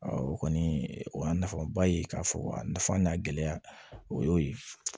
o kɔni o y'a nafaba ye k'a fɔ a nafa n'a gɛlɛya o y'o ye